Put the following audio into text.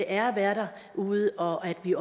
er at være derude og at vi